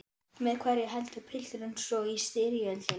Með hverjum heldur pilturinn svo í styrjöldinni?